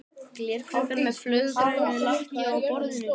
Glerkrukka með fölgrænu lakki á borðinu.